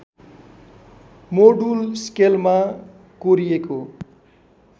module स्केलमा कोरिएको